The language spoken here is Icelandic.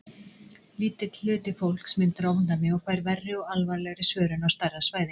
Lítill hluti fólks myndar ofnæmi og fær verri og alvarlegri svörun á stærra svæði.